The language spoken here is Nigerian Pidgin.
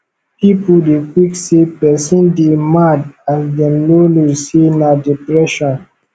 pipu dey quick say pesin dey mad as dem no know sey na depression